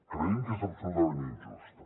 creiem que és absolutament injusta